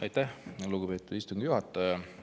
Aitäh, lugupeetud istungi juhataja!